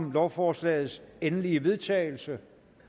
om lovforslagets endelige vedtagelse